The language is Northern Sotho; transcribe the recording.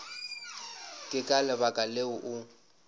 ke ka lebaka leo o